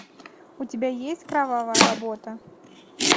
у тебя есть кровавая работа